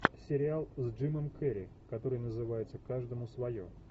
сериал с джимом керри который называется каждому свое